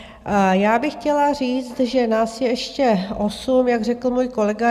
Já bych chtěla říct, že nás je ještě osm, jak řekl můj kolega.